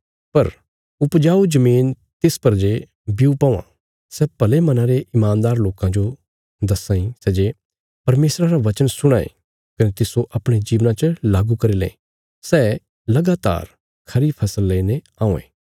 पर उपजाऊ जमीन तिस पर जे ब्यू पौआं सै भले मना रे ईमानदार लोकां जो दस्सां सै जे परमेशरा रा बचन सुणां ये कने तिस्सो अपणे जीवना च लागू करी लें सै लगातार खरी फसल लेईने औयें